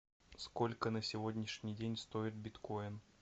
сколько на сегодняшний день стоит биткоин